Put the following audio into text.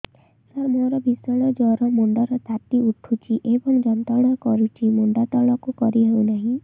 ସାର ମୋର ଭୀଷଣ ଜ୍ଵର ମୁଣ୍ଡ ର ତାତି ଉଠୁଛି ଏବଂ ଯନ୍ତ୍ରଣା କରୁଛି ମୁଣ୍ଡ ତଳକୁ କରି ହେଉନାହିଁ